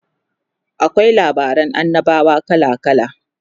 akwai labaran annabawa kala kala